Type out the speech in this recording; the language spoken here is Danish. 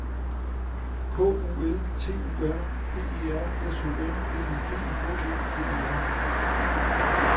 K U L T U R P E R S O N L I G H E D E R